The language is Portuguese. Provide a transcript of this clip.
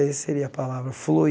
Aí seria a palavra, flui.